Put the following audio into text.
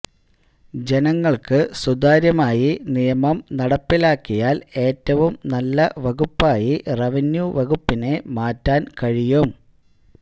ജനങ്ങള്ക്ക് സുതാര്യമായി നിയമം നടപ്പിലാക്കിയാല് ഏറ്റവും നല്ല വകുപ്പായി റവന്യൂ വകുപ്പിനെ മാറ്റാന് കഴിയും